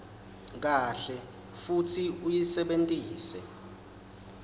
kahle futsi uyisebentisa